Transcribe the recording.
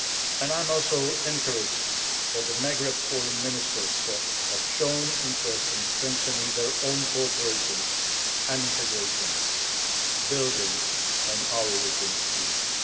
And I am also encouraged that the Maghreb Foreign Ministers have shown interest in strengthening their own cooperation and integration, building on our European experience.